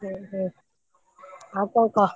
ଓହୋ ଆଉ ଙ୍କ କହ?